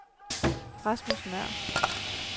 Rasmus Nøhr